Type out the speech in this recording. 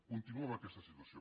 continuo amb aquesta situació